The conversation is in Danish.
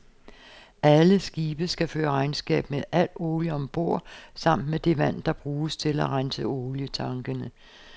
Alle skibe skal føre regnskab med al olie om bord samt med det vand, der bruges til at rense olietankene.